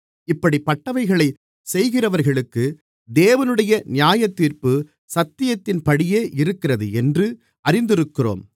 இப்படிப்பட்டவைகளைச் செய்கிறவர்களுக்குத் தேவனுடைய நியாயத்தீர்ப்பு சத்தியத்தின்படியே இருக்கிறதென்று அறிந்திருக்கிறோம்